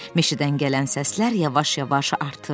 Meşədən gələn səslər yavaş-yavaş artırdı.